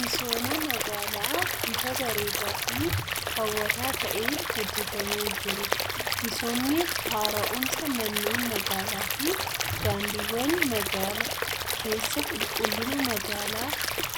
Misooma magaalaa bifa bareedaa fi hawwataa ta'een hojjetamee jiru. Misoomni haara'umsa manneen magaalaa fi daandiiwwan magaala keessaa qulqullina magaalaa